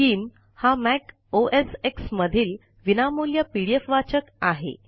scheme हा Mac OS X मधील विनामूल्य पीडीएफ वाचक आहे